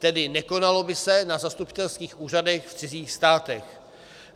Tedy nekonalo by se na zastupitelských úřadech v cizích státech.